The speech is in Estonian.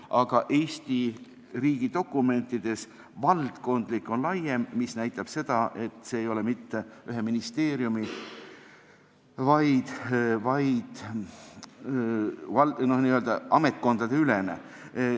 Aga "valdkondlik" viitab Eesti riigi dokumentides laiemale tähendusele, see näitab seda, et see ei ole mitte ühe ministeeriumi asi, vaid on n-ö ametkondadeülene.